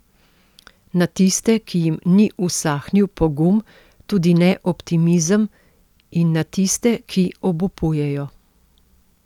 Na tiste, ki jim ni usahnil pogum, tudi ne optimizem, in na tiste, ki obupujejo.